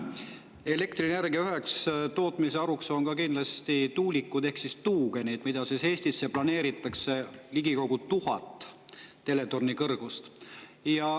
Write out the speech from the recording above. Elektrienergia tootmisel on üheks tootmisharuks kindlasti tuulikud ehk tuugenid, mida Eestisse planeeritakse ehitada ligikaudu 1000 teletorni kõrgust.